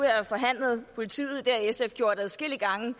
have forhandlet om politiet det har sf gjort adskillige gange